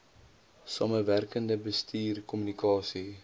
samewerkende bestuur kommunikasie